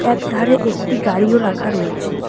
একধারে একটি গাড়িও রাখা রয়েছে।